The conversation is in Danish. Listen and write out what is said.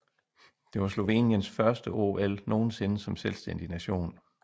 Det var Sloveniens første OL nogensinde som selvstændig nation